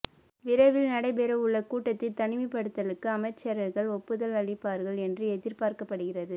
விரைவில் நடைபெறவுள்ள கூட்டத்தில் தனிமைப்படுத்தலுக்கு அமைச்சர்கள் ஒப்புதல் அளிப்பார்கள் என்று எதிர்பார்க்கப்படுகிறது